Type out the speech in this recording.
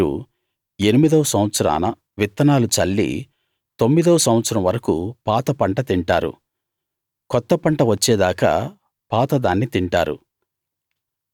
మీరు ఎనిమిదో సంవత్సరాన విత్తనాలు చల్లి తొమ్మిదో సంవత్సరం వరకూ పాత పంట తింటారు కొత్త పంట వచ్చేదాకా పాత దాన్ని తింటారు